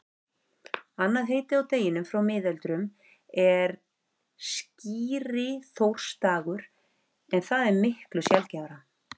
Annað heiti á deginum frá miðöldum er skíriþórsdagur en það er miklu sjaldgæfara.